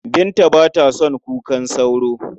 Binta ba ta son kukan sauro.